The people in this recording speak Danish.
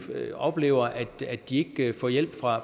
oplever at de ikke får hjælp fra